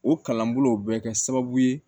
O kalanbolo bɛ kɛ sababu ye